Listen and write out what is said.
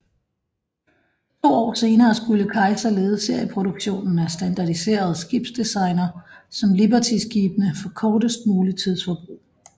To år senere skulle Kaiser lede serieproduktionen af standardiserede skibsdesigner som libertyskibene for kortest mulig tidsforbrug